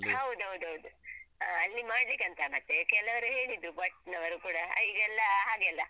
ಹೌದೌದು ಹೌದು ಹ ಅಲ್ಲಿ ಮಾಡ್ಲಿಕ್ಕಂತ ಮತ್ತೆ ಕೆಲವರು ಹೇಳಿದ್ದು ಭಟ್ನವರು ಕೂಡ ಈಗೆಲ್ಲ ಹಾಗೇ ಅಲ್ಲ.